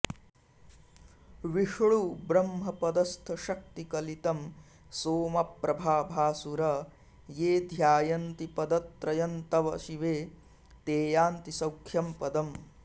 विष्णुब्रह्मपदस्थशक्तिकलितं सोमप्रभाभासुर ये ध्यायन्ति पदत्रयन्तव शिवे ते यान्ति सौख्यम्पदम्